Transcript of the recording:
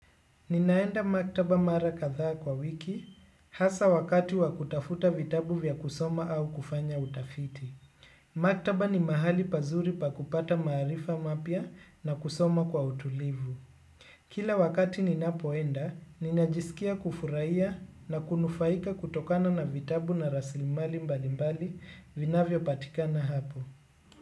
Ninaenda maktaba mara kadha kwa wiki hasa wakati wakutafuta vitabu vya kusoma au kufanya utafiti. Maktaba ni mahali pazuri pa kupata maarifa mapya na kusoma kwa utulivu. Kila wakati ninapoenda, ninajisikia kufurahia na kunufaika kutokana na vitabu na raslimali mbali mbali vinavyo patikana hapo.